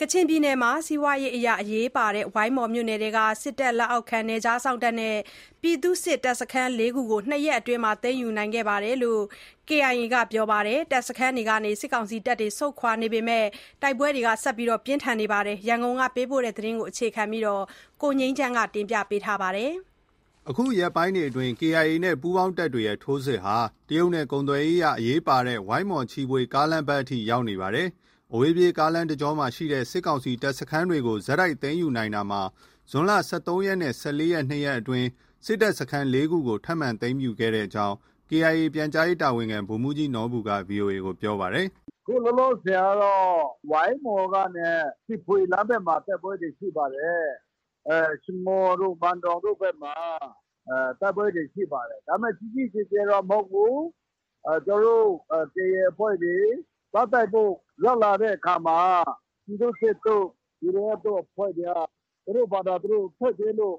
ကချင်ပြည်နယ်မှာ စီးပွားရေးအရအရေးပါတဲ့ ဝိုင်းမော်မြို့နယ်ထဲက စစ်တပ်လက်အောက်ခံ နယ်ခြားစောင့်နဲ့ ပြည်သူ့စစ် တပ်စခန်း ၄ ခုကို ၂ ရက်အတွင်း သိမ်းယူခဲ့တယ်လို့ KIA ကပြောပါတယ်။ တပ်စခန်းတွေကနေ စစ်တပ်တွေ ဆုတ်ခွာနေပေမဲ့ တိုက်ပွဲတွေ ပြင်းထန်နေတဲ့ အခြေအနေ ရန်ကုန်ကပေးပို့တဲ့သတင်းကို တင်ပြထားပါတယ်။ အခုရက်ပိုင်းတွေအတွင်း KIA နဲ့ ပူးပေါင်းတပ်တွေရဲ့ ထိုးစစ်ဟာ တရုတ်နဲ့ကုန်သွယ်ရေးအရ အရေးပါတဲ့ ဝိုင်းမော်- ချီဖွေကားလမ်းဘက်အထိ ရောက်နေပါတယ်။ အဝေးပြေးကားလမ်းတကြောမှာ ရှိတဲ့ စစ်ကောင်စီတပ်စခန်းတွေကို ဆက်တိုက်သိမ်းယူနိုင်တာမှာ ဇွန်လ ၁၃ နဲ့ ၁၄ ရက်၊ ၂ ရက်အတွင်း စစ်တပ်စခန်း ၄ ခုကို ထပ်မံ သိမ်းယူခဲ့ကြောင်း KIA ပြန်ကြားရေးတာဝန်ခံ ဗိုလ်မှူးကြီးနော်ဘူက ဗွီအိုအေကို ပြောပါတယ်။ “အခုလောလောဆည်ကတော့ ဝိုင်းမော်ကနေ ချီဖွေလမ်းဘက်မှာ တိုက်ပွဲတွေ ရှိပါတယ်။ ရှငေါ်တို့၊ ဘန်ဒေါင်တို့ဘက်မှာ တိုက်ပွဲတွေ ရှိပါတယ်။ ဒါပေမဲ့ ကြီးကြီးကျယ်ကျယ်တော့ မဟုတ်ဘူး။ ကျနော်တို့ KIA အဖွဲ့တွေ သွားတိုက်ဖို့ ရောက်လာတဲ့အခါမှာ ပြည်သူ့စစ်တို့၊ BGF တို့ အဖွဲ့တွေက သူတို့ဖာသာ သူတို့ ဆုတ်ပေးလို့